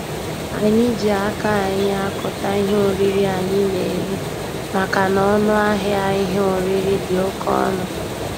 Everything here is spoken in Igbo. Anyị ji aka anyị akụta ihe oriri anyị na-eri makana ọnụ ahịa ihe oriri dị oke ọnụ.